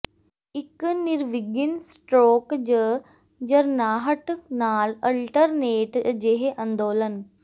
ਇੱਕ ਨਿਰਵਿਘਨ ਸਟਰੋਕ ਜ ਝਰਨਾਹਟ ਨਾਲ ਅਲਟਰਨੇਟ ਅਜਿਹੇ ਅੰਦੋਲਨ